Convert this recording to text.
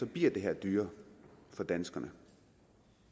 bliver det her dyrere for danskerne